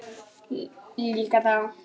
Líka þá.